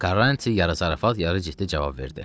Karranti yarı zarafat, yarı ciddi cavab verdi.